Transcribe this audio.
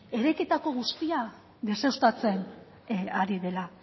eraikitako guztia deuseztatzen ari dela